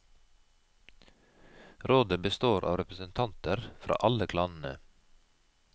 Rådet består av representanter fra alle klanene.